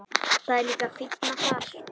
Það er líka fínna þar.